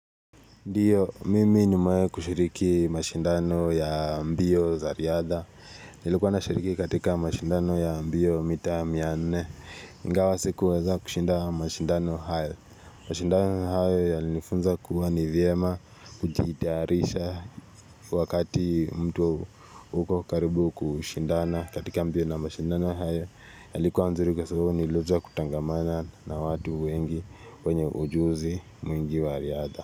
Ndiyo, mimi nimewahi kushiriki mashindano ya mbio za riadha. Nilikuwa na shiriki katika mashindano ya mbio mita mia nne. Ingawa sikuweza kushinda mashindano hayo. Mashindano hayo yalinifunza kuwa nivyema, kujitayarisha. Wakati mtu uko karibu kushindana katika mbio na mashindano hayo. Yalikuwa nzuri kwa sababu nilijua kutangamana na watu wengi, wenye ujuzi mwingi wa riadha.